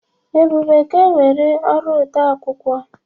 Ebube ga-ewere ọrụ odeakwụkwọ.